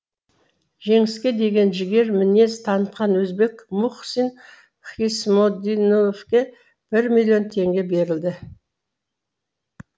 жеңіске деген жігер мінез танытқан өзбек мухсин хиссомиддиновке бір миллион теңге берілді